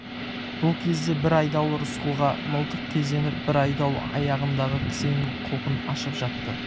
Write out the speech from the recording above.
бұл кезде бір айдауыл рысқұлға мылтық кезеніп бір айдауыл аяғындағы кісеннің құлпын ашып жатты